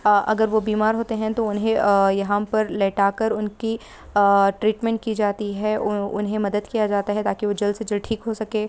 अगर वो बीमार होते हैं तो उन्हैं यहां पर लेटा कर उनकी ट्रीटमेंट की जाती हैं उन्हैं मदद किया जाता हैं ताकि वो जल्द से दल्द ठीक हो सके।